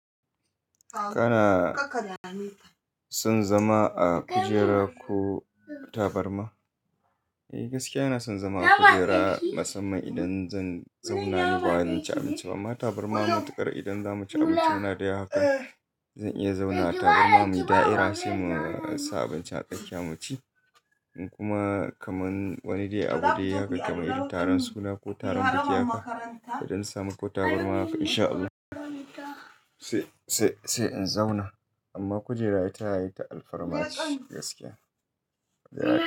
Kana son zama a kujera ko tabarma? Eh gaskiya ina son zama a kujera musamman idan zan zauna ne ba wai zan ci abinci ba. Amma tabarma matukar idan za mu ci abinci muna da yawa hakan. Zan iya zauna a tabarma muyi da'ira sai mu sa abinci a tsakiya mu ci. Kuma kaman wani dai abu dai hakan kamar irin taron suna ko taron biki haka. Idan na samu ko tabarma haka insha Allahu sai, sai, sai in zauna. Amma kujera ita yayi ta alfarma ce gaskiya.